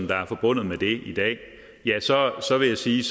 der er forbundet med det i dag vil jeg sige